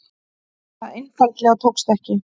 Það einfaldlega tókst ekki.